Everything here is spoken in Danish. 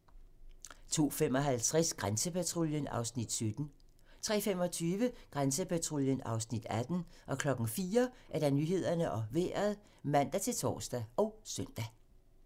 02:55: Grænsepatruljen (Afs. 17) 03:25: Grænsepatruljen (Afs. 18) 04:00: Nyhederne og Vejret (man-tor og søn)